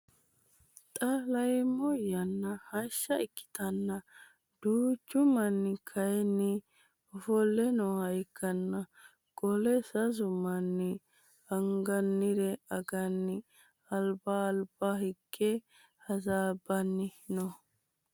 Xa leneemmo yanna hashsha ikkitanna duuchchu manni kaayiini ofolle nooha ikkana qoleno sasu manni anganire anggani albba albba higge hasaabbani no